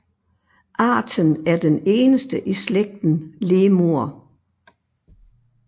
Arten er den eneste i slægten Lemur